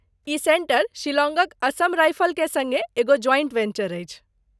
ई centre शिलांगक असम राइफलके सङ्गे एगो ज्वाइंट वेंचर अछि।